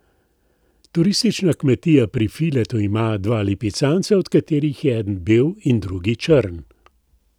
Turistična kmetija Pri Filetu ima dva lipicanca, od katerih je eden bel in drugi črn.